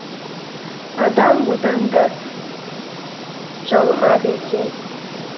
адам одан да жалығады екен